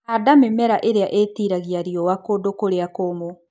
Handa mĩmera ĩria ĩtiragia riua kũndũ kũrĩa kũmũ.